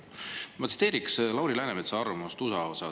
Ma tsiteerin Lauri Läänemetsa arvamust USA kohta.